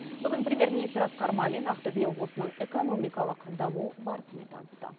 бүгін премьер министр асқар мамин ақтөбе облысының экономикалық даму барысымен танысты